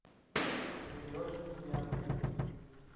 сереже ниязове